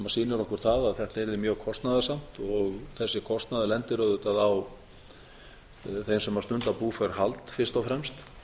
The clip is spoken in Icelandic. sýnir okkur það að þetta yrði mjög kostnaðarsamt og þessi kostnaður lendir auðvitað á þeim sem stunda búfjárhald fyrst og fremst